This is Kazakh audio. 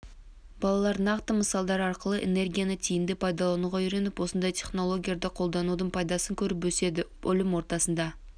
балалар нақты мысалдар арқылы энергияны тиімді пайдалануға үйреніп осындай технологияларды қолданудың пайдасын көріп өседі білім ордасында